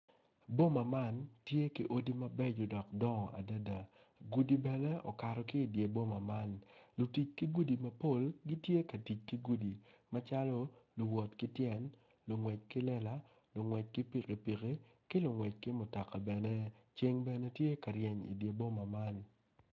Boma man tye ki odi mabeco dok dongo adada gudi bene okato ki i dyer boma lutic ki gudu mapol tye ka tic ki gudi macalo luwot ki tyen lungwec ki lela lungwec ki pikipiki ki lungwec ki mutoka bene ceng bene tye ka reny i dyer boma man